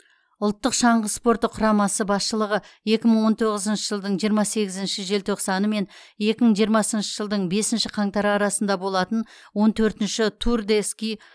ұлттық шаңғы спорты құрамасы басшылығы екі мың он тоғызыншы жылдың жиырма сегізінші желтоқсаны мен екі мың жиырмасыншы жылдың бесінші қаңтары арасында болатын он төртінші тур де ски